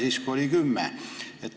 Praegune tähtaeg on kümme aastat.